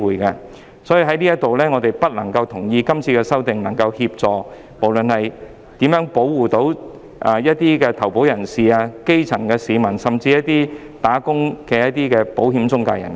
基於上述種種原因，我們不同意《條例草案》將有助保護投保人、基層市民，甚至是作為僱員的保險中介人。